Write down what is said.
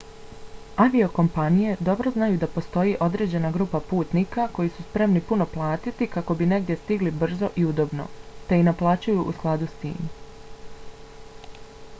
aviokompanije dobro znaju da postoji određena grupa putnika koji su spremni puno platit kako bi negdje stigli brzo i udobno te i naplaćuju u skladu s tim